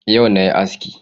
Yau na yi aski